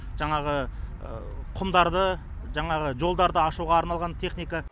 жаңаңы құмдарды жаңағы жолдарды ашуға арналған техника